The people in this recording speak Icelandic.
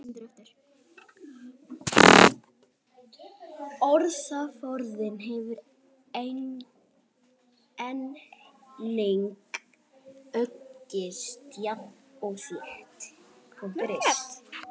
Orðaforðinn hefur einnig aukist jafnt og þétt.